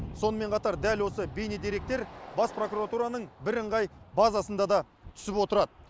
сонымен қатар дәл осы бейнедеректер бас прокуратураның бірыңғай базасында да түсіп отырады